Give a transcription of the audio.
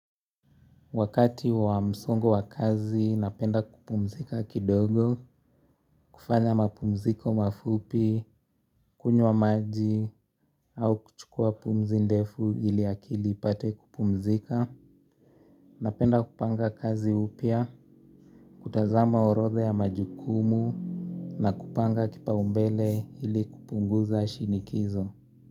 Wakati wa msongo wa kazi napenda kupumzika kidogo, kufanya mapumziko mafupi, kunywa maji, au kuchukua pumzi ndefu ili akili ipate kupumzika, napenda kupanga kazi upya, kutazama orodha ya majukumu, na kupanga kipaumbele ili kupunguza shinikizo.